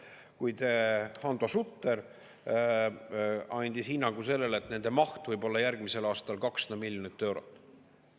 Kuid Hando Sutter andis hinnangu sellele, et nende maht võib olla järgmisel aastal 200 miljonit eurot.